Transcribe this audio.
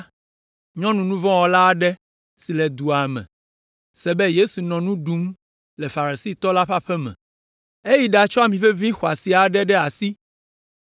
nyɔnu nu vɔ̃ wɔla aɖe si le dua me la se be Yesu nɔ nu ɖum le Farisitɔ la ƒe aƒe me. Eyi ɖatsɔ amiʋeʋĩ xɔasi aɖe ɖe asi.